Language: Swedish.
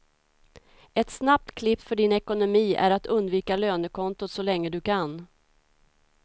Ett snabbt klipp för din ekonomi är att undvika lönekontot så länge du kan.